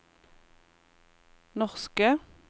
norske